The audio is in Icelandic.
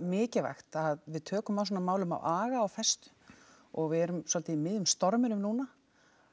mikilvægt að við tökum á svona málum af aga og festu og við erum svolítið í miðjum storminum núna